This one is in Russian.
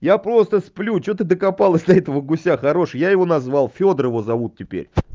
я просто сплю что ты докопалась до этого гуся хороший я его назвал фёдорова зовут теперь